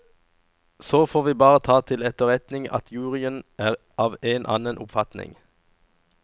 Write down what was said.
Så får vi bare ta til etterretning at juryen er av en annen oppfatning.